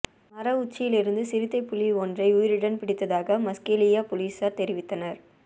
மர உச்சியிலிருந்த சிறுத்தை புலியை ஒன்றை உயிருடன் பிடித்ததாக மஸ்கெலியா பொலிஸார் தெரிவித்தனர்